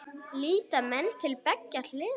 Líta menn til beggja hliða?